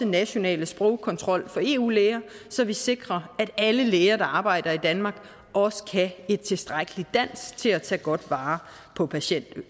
national sprogkontrol for eu læger så vi sikrer at alle læger der arbejder i danmark også kan et tilstrækkeligt dansk til at tage godt vare på patienterne